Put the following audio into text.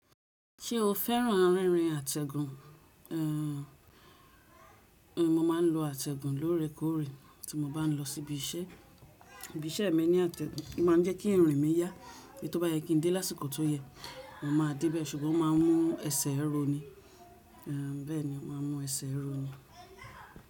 Ṣé o féràn rinrin àtẹ̀gùn? Ehn, mo ma ń lo àtẹ̀gùn lóore kóòrè tí mo bá ń lọ sí ibi iṣẹ́. Ibi iṣẹ́ mi ní àtẹ̀gùn, ó ma ń jẹ́ kí irin mi yá, ibi to bá yẹ kí ń dé lásìkò tó yẹ, mo má a débẹ̀, ṣùgbọ́n o má a mú ẹsẹ̀ roni. Ehn, bẹ́ẹ̀ni, o má n mú ẹsẹ̀ roni.